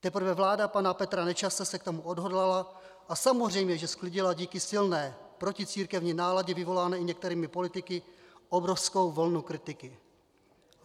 Teprve vláda pana Petra Nečase se k tomu odhodlala a samozřejmě že sklidila díky silné proticírkevní náladě vyvolané i některými politiky obrovskou vlnu kritiky.